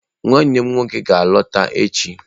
Nwannem nwoke ga-alọta echi